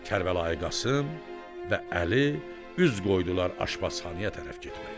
Kərbəlayi Qasım və Əli üz qoydular aşbazxanaya tərəf getməyə.